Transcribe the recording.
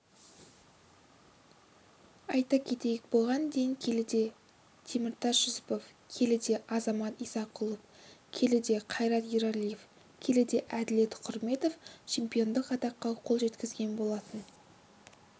айта кетейік бұған дейін келіде теміртас жүсіпов келіде азамат исақұлов келіде қайрат ералиев келіде әділет құрметов чемпиондық атаққа қол жеткізген болатын